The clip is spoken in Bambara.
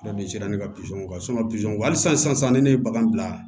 sera ne ka kan halisa sisan ne ne ye bagan bila